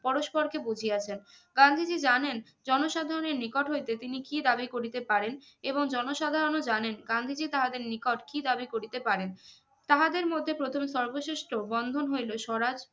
পরস্পর কে বুঝিয়াছেন গান্ধীজি জানেন জনসাধারণের নিকট হইতে তিনি কি দাবি করিতে পারেন এবং জন সাধারণ ও জানেন গান্ধীজি তাহাদের নিকট কি দাবি করিতে পারেন তাহাদের মধ্যে প্রথম সর্বশ্রেষ্ঠ বন্ধন হইলো স্বরাজ